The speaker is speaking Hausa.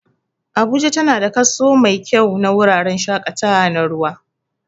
Abuja tana da kaso mai kyau na wuraren shaƙatawa na ruwa